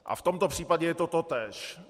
A v tomto případě je to totéž.